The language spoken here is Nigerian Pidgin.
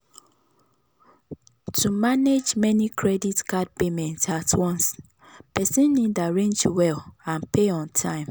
to manage many credit card payments at once person need arrange well and pay on time.